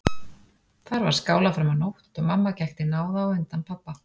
Þar var skálað fram á nótt og mamma gekk til náða á undan pabba.